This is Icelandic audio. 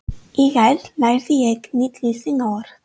Í gær lærði ég nýtt lýsingarorð.